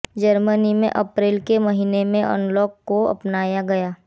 Germany में अप्रैल के महीने में अनलॉक को अपनाया गया